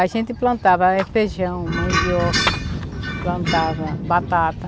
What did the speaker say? A gente plantava feijão, mandioca, plantava batata.